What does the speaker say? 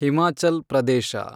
Himachal Pradesh